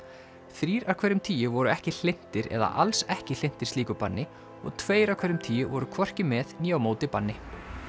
þrír af hverjum tíu voru ekki hlynntir eða alls ekki hlynntir slíku banni og tveir af hverjum tíu voru hvorki með né á móti banni